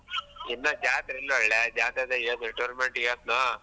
ಇನ್ನ ಜಾತ್ರಿಲ್ಲ ಒಳ್ಳೆ ಜಾತ್ರೆ ಆದಾ ಹೇಳ್ tournament . ಹೇಳ್ತ್ನೋ.